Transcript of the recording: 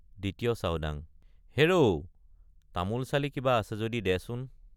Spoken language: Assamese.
ত্ৰয় ২য় চাওডাং—হেৰৌ তামোলচালি কিবা আছে যদি দেচোন।